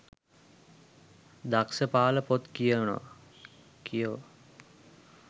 දක්ස පාල පොත් කියවා